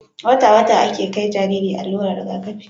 wata wata ake kai Jariri allurar Riga kafi